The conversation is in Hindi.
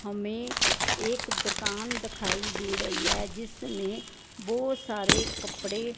हमें एक दुकान दखाई दे रहीं है जिसमें बो सारे कपड़े--